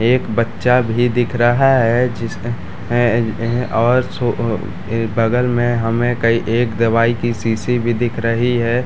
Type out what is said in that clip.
एक बच्चा भी दिख रहा है जिस है ए ह और सो ह बगल में हमे कई एक दवाई की शीशी भी दिख रही है ।